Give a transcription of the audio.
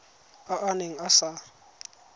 a a neng a sa